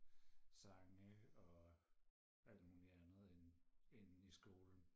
sange og alt muligt andet end end i skolen